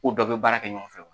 U dɛɛ bɛ baara kɛ ɲɔgɔn fɛ wo.